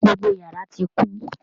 Gbogbo yàrá tí kún.